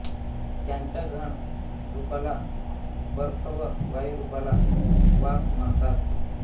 त्यांच्या घन रूपाला बर्फ व वायुरूपाला वाफ म्हणतात